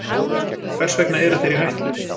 Hvers vegna eru þeir í hættu?